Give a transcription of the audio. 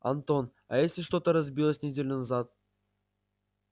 антон а если что-то разбилось неделю назад